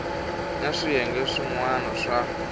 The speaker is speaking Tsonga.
na swiyenge swin wana swa